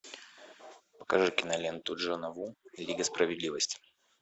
покажи киноленту джона ву лига справедливости